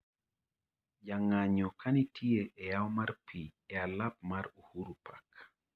jang'anyo ka nitie e yao mar pi a alap mar Uhuru Park